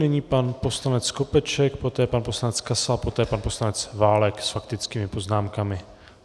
Nyní pan poslanec Skopeček, poté pan poslanec Kasal, poté pan poslanec Válek s faktickými poznámkami.